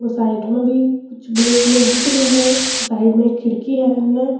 यो साइड में भी कुछ ब्लेक ब्लेक दिख रे है साइड में एक खिड़की है इमे --